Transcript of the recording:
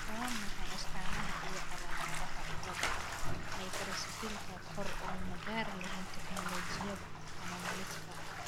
Waa maxay astamaha iyo calaamadaha cilada Microcephalyka koor oo magar laheen teknolojiyad anomalieska ?